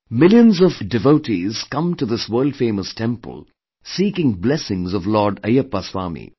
Millions of devotees come to this world famous temple, seeking blessings of Lord Ayyappa Swami